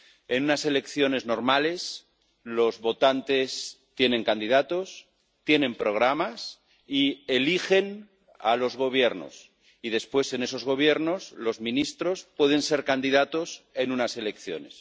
En unas elecciones normales los votantes tienen candidatos, tienen programas y eligen a los gobiernos, y después en esos gobiernos los ministros pueden ser candidatos en unas elecciones.